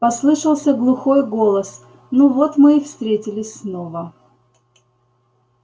послышался глухой голос ну вот мы и встретились снова